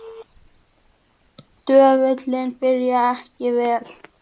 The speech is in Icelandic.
Dvölin byrjaði ekki vel.